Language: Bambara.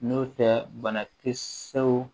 N'o tɛ bana tɛ se